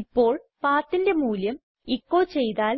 ഇപ്പോൾ PATHന്റെ മൂല്യം എച്ചോ ചെയ്താൽ